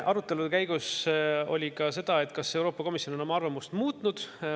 Arutelude käigus oli ka, kas Euroopa Komisjon on oma arvamust muutnud.